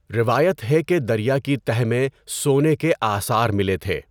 روایت ہے کہ دریا کی تہہ میں سونے کے آثار ملے تھے۔